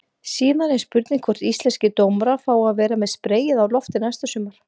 Síðan er spurning hvort íslenskir dómarar fái að vera með spreyið á lofti næsta sumar?